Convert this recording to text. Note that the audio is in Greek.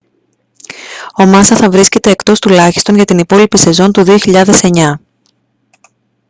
ο μάσα θα βρίσκεται εκτός τουλάχιστον για την υπόλοιπη σεζόν του 2009